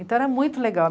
Então era muito legal.